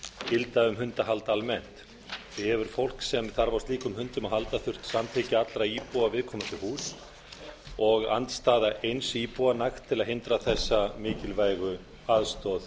gilda um hundahald almennt því hefur fólk sem þarf á slíkum hundum að halda þurft samþykki allra íbúa viðkomandi húss og andstaða eins íbúa nægt til að hindra þessa mikilvægu aðstoð